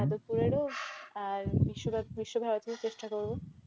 যাদবপুরে আর বিশ্বভারতী বিশ্বভারতীতে চেষ্টা করব।